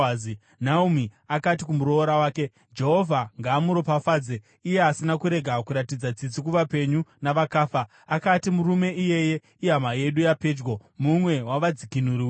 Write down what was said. Naomi akati kumuroora wake, “Jehovha ngaamuropafadze! Iye asina kurega kuratidza tsitsi kuvapenyu navakafa.” Akatizve, “Murume iyeye ihama yedu yapedyo; mumwe wavadzikinuri vedu.”